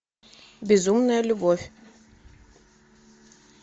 безумная любовь